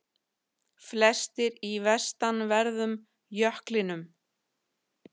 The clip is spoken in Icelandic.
Flestir í vestanverðum jöklinum